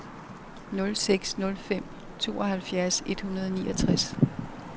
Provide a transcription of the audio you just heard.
nul seks nul fem tooghalvfjerds et hundrede og niogtres